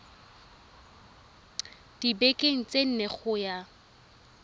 dibekeng tse nne go ya